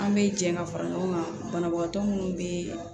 An bɛ jɛ ka fara ɲɔgɔn kan banabagatɔ minnu bɛ